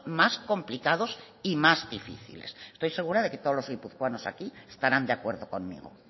más complicados y más difíciles estoy segura que todos los guipuzcoanos aquí estarán de acuerdo conmigo